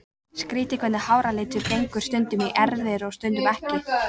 Skrýtið hvernig háralitur gengur stundum í erfðir og stundum ekki.